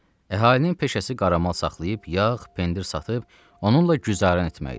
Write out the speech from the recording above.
Əhalinin peşəsi qaramal saxlayıb yağ, pendir satıb onunla güzəran etmək idi.